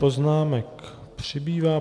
Poznámek přibývá.